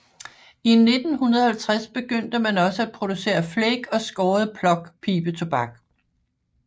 I 1950 begyndte man også at producere flake og skåret plug pibetobak